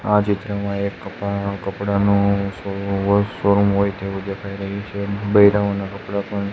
આ ચિત્રમાં એક કપા કપડાનુ શોરૂમ હોય તેવું દેખાય રહ્યું છે ના કપડા પણ--